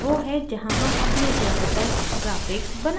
यह वो है जहाँ हम अपने ज़्यादातर graphics बनाते हैं